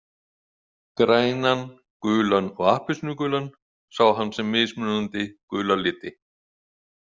Grænan, gulan og appelsínugulan sá hann sem mismunandi gula liti.